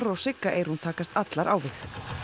og Sigga Eyrún takast allar á við